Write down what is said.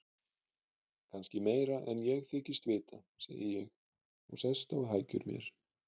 Kannski meira en ég þykist vita, segi ég og sest á hækjur mér.